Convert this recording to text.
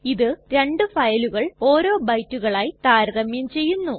ഇത് രണ്ടു ഫയലുകൾ ഓരോ ബൈറ്റുകളായി താരതമ്യം ചെയ്യുന്നു